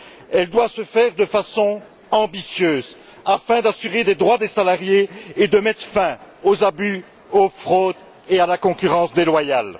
Elle doit se faire de façon ambitieuse afin d'assurer les droits des salariés et de mettre fin aux abus, aux fraudes et à la concurrence déloyale.